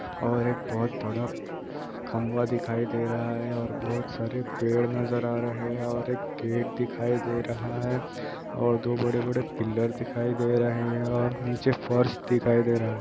और एक बहुत बडा खंभा दिखाई दे रहा है और बहुत सारे पेड़ नजर आ रहे हैं और एक गेट दिखाई दे रहा है और दो बड़े-बड़े पिलर दिखाई दे रहे हैं और नीचे फर्स दिखाई दे रहा है।